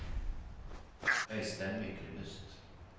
Øystein Myklebust